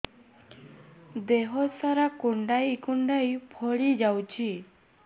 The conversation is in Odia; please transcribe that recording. ଦେହ ସାରା କୁଣ୍ଡାଇ କୁଣ୍ଡାଇ ଫଳି ଯାଉଛି